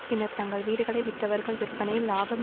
பின்னர் தங்கள் வீடுகளை விற்றவர்கள் விற்பனையில் இலாபம்